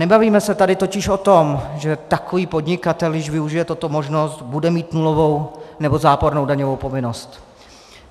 Nebavíme se tady totiž o tom, že takový podnikatel, když využije tuto možnost, bude mít nulovou nebo zápornou daňovou povinnost.